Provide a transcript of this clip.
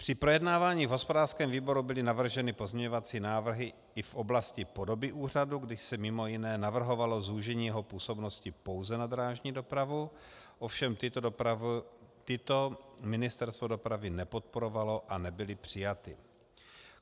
Při projednávání v hospodářském výboru byly navrženy pozměňovací návrhy i v oblasti podoby úřadu, kdy se mimo jiné navrhovalo zúžení jeho působnosti pouze na drážní dopravu, ovšem tyto Ministerstvo dopravy nepodporovalo a nebyly přijaty.